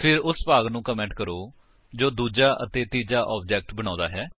ਫਿਰ ਉਸ ਭਾਗ ਨੂੰ ਕਮੇਂਟ ਕਰੋ ਜੋ ਦੂਜਾ ਅਤੇ ਤੀਜਾ ਆਬਜੇਕਟ ਬਣਾਉਂਦਾ ਹੈ